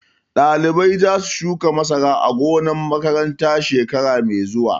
Ɗalibai za su shuka masara a gonar makaranta shekara mai zuwa